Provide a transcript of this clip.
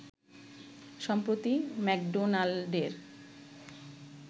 সম্প্রতি ম্যাকডোনাল্ডের